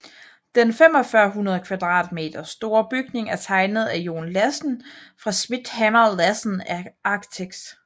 Den 4500m² store bygning er tegnet af John Lassen fra schmidt hammer lassen architects